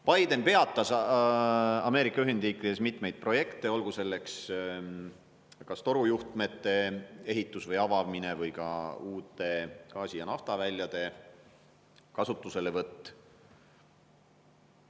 Biden peatas Ameerika Ühendriikides mitmeid projekte, olgu selleks kas torujuhtmete ehitus või avamine või ka uute gaasi- ja naftaväljade kasutuselevõtt.